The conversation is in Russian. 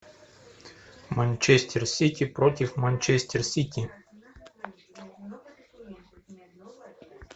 манчестер сити против манчестер сити